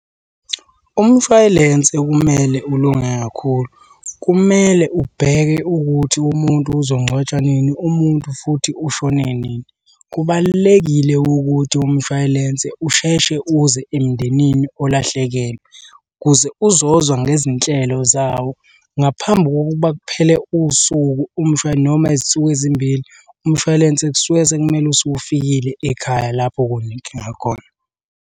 Umshwayilense kumele ulunge kakhulu, kumele ubheke ukuthi umuntu uzongcwatshwa nini umuntu futhi ushone nini. Kubalulekile ukuthi umshwayilense usheshe uze emndenini olahlekelwe ukuze uzozwa ngezinhlelo zawo ngaphambi kokuba kuphele usuku noma izinsuku ezimbili, umshwalense kusuke sekumele usufikile ekhaya lapho kunenkinga khona.